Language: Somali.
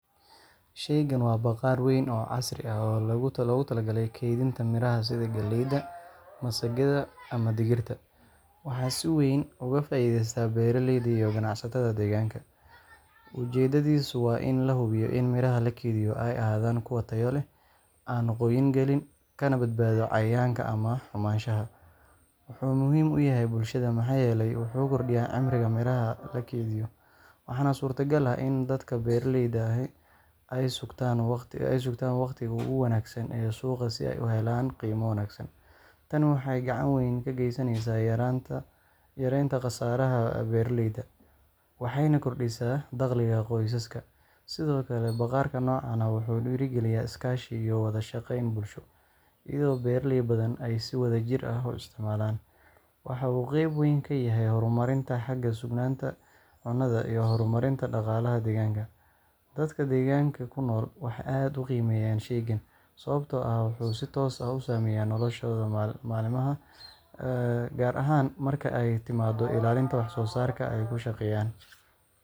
Shaygan waa bakhaar weyn oo casri ah oo loogu talagalay kaydinta miraha sida galleyda, masagada, ama digirta. Waxaa si weyn uga faa’iideysta beeraleyda iyo ganacsatada deegaanka. Ujeedadiisu waa in la hubiyo in miraha la keydiyo ay ahaadaan kuwo tayo leh, aan qoyin gelin, kana badbaado cayayaanka ama xumaanshaha. Wuxuu muhiim u yahay bulshada maxaa yeelay wuxuu kordhiyaa cimriga miraha la keydiyo, waxaana suurtagal ah in dadka beeraleyda ahi ay sugtaan waqtiga ugu wanaagsan ee suuqa si ay u helaan qiimo wanaagsan. Tani waxay gacan ka geysaneysaa yaraynta khasaaraha beeraleyda, waxayna kordhisaa dakhliga qoysaska. Sidoo kale, bakhaarka noocan ah wuxuu dhiirrigeliyaa iskaashi iyo wada shaqayn bulsho, iyadoo beeraley badan ay si wadajir ah u isticmaalaan. Waxa uu qeyb weyn ka yahay horumarinta xagga sugnaanta cunnada iyo horumarinta dhaqaalaha deegaanka. Dadka deegaanka ku nool waxay aad u qiimeeyaan shaygan, sababtoo ah wuxuu si toos ah u saameeyaa noloshooda maalinlaha ah, gaar ahaan marka ay timaado ilaalinta wax soo saarka ay ku shaqeeyaan.